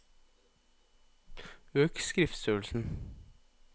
Øk skriftstørrelsen